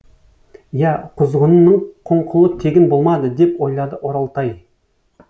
иә құзғынының құңқылы тегін болмады деп ойлады оралтай